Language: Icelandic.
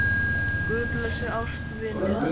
Guð blessi ástvini hans.